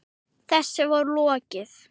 Þessu var lokið.